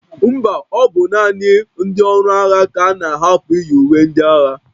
Mba, ọ bụ naanị ndị ọrụ agha ka a na-ahapụ iyi uwe ndị agha